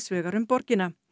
vegar um borgina